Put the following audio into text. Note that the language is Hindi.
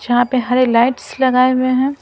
जहां पे हरे लाइट्स लगाए हुए हैं।